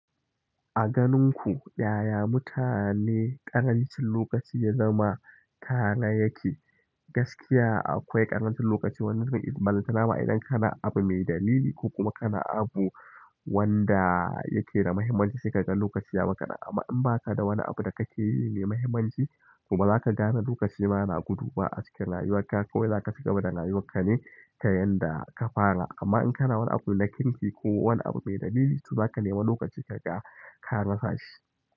A ganin ku yaya mutane ƙarancin lokaci ya zama tare yake? Gaskiya akwai ƙarancin lokaci wani lokacin idan ba ta nama idan kana abu mai dalili ko kuma kana abu wanda yake da muhimmanci sai ka gan lokaci ya ma kaɗan amma in ba ka da wani abu da kake yi me muhimmanci kuma ba za ka gane lokaci ba na gudu ba a cikin rayuwarka kawai za ka fita daga rayuwarka ne ta yanda ka fara kamar in kana wani abu na kirki ko wani abu mai dalili to zaka nemi lokaci kaga la rasa shi.